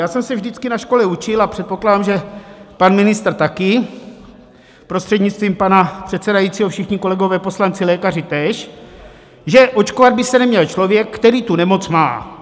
Já jsem se vždycky na škole učil, a předpokládám, že pan ministr také, prostřednictvím pana předsedajícího všichni kolegové poslanci lékaři též, že očkovat by se neměl člověk, který tu nemoc má.